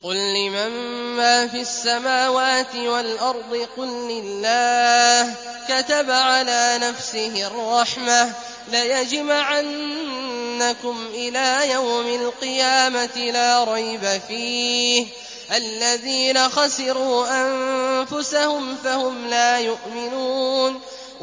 قُل لِّمَن مَّا فِي السَّمَاوَاتِ وَالْأَرْضِ ۖ قُل لِّلَّهِ ۚ كَتَبَ عَلَىٰ نَفْسِهِ الرَّحْمَةَ ۚ لَيَجْمَعَنَّكُمْ إِلَىٰ يَوْمِ الْقِيَامَةِ لَا رَيْبَ فِيهِ ۚ الَّذِينَ خَسِرُوا أَنفُسَهُمْ فَهُمْ لَا يُؤْمِنُونَ